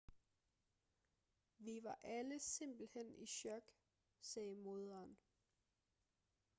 vi var alle simpelthen i chok sagde moderen